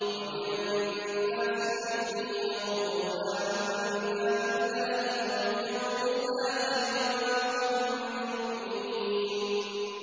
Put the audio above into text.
وَمِنَ النَّاسِ مَن يَقُولُ آمَنَّا بِاللَّهِ وَبِالْيَوْمِ الْآخِرِ وَمَا هُم بِمُؤْمِنِينَ